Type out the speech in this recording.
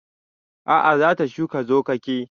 A'a za ta shuka zogake